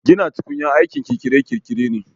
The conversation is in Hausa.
Gina tukunya aikin kirkire-kirkire ne